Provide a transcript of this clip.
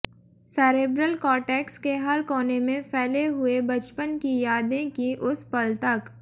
cerebral cortex के हर कोने में फैले हुए बचपन की यादें की उस पल तक